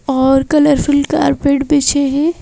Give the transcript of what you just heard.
और colourful carpet बिछे हैं।